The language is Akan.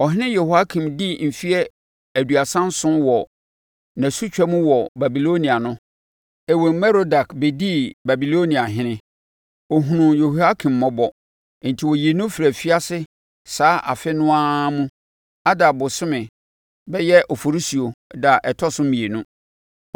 Ɔhene Yehoiakin dii mfeɛ aduasa nson wɔ nʼasutwa mu wɔ Babilonia no, Ewil-Merodak bɛdii Babiloniahene. Ɔhunuu Yehoiakyin mmɔbɔ, enti ɔyii no firii afiase saa afe no ara mu Adar bosome (bɛyɛ Oforisuo) da a ɛtɔ so mmienu.